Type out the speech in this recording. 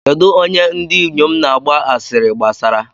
Kedụ onye ndị inyom na-agba asịrị gbasara?